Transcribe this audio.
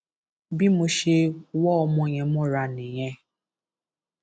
bí mo ṣe wọ ọmọ yẹn mọra nìyẹn